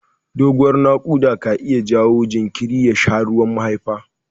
Doguwar naƙuda ka iya jawo jinjiri ya sha ruwan mahaifa.